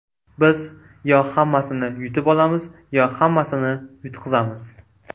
Biz yo hammasini yutib olamiz, yo hammasini yutqazamiz”.